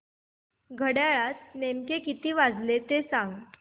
घड्याळात नेमके किती वाजले ते सांग